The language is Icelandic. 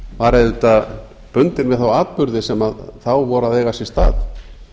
var auðvitað bundin við þá atburði sem þá voru að eiga sér stað